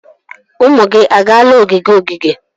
Ụmụ gị agaala ogige ogige?